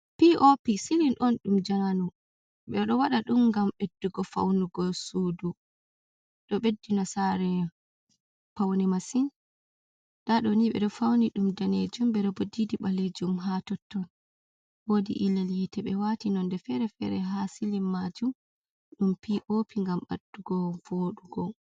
Pop silin on ɗum jamanu, ɓe ɗo waɗa ɗum ngam ɓeddugo faunugo suudu, ɗo ɓeddina sare paune masin nda ɗo ni ɓe ɗo fauni ɗum danejum ɓe ɗo bo ɗiɗi balejum ha totton, wodi ilel yite be wati nonde fere-fere ha silin majum ɗum pop ngam ɓeddugo vodugo.